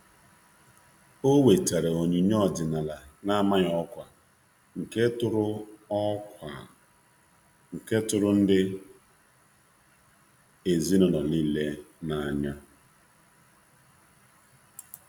um O wetara onyinye ọdịnala n'amaghị ọkwa, nke tụrụ ndị ezinụlọ niile n'anya